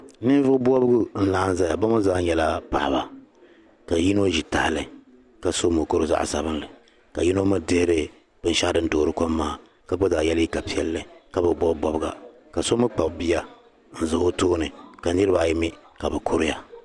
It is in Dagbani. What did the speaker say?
Ninvuɣu bɔbigu n zaya bi ni zaa nyɛla paɣaba ka yino ʒi tahali ka so mukuru zaɣa sabinli ka yino mi dihiri binshɛɣu din doori kom maa ka gba zaa ye liika piɛli ka bi bɔbi bɔbiga ka so mi kpabi bia n za o tooni ka niriba ayi mi ka bɛ kuri ya